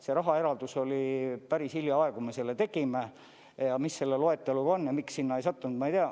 Selle rahaeralduse päris hiljaaegu me tegime, mis selle loeteluga on ja miks see sinna ei sattunud, ma ei tea.